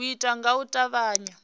u itwa nga u tavhanya